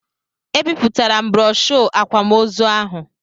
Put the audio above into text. Ebipụtara m broshoo akwamozu ahụ.